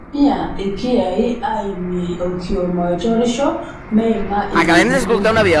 Keitumiai ilkiyai aaimie olkioma oitorisho meima inakukuo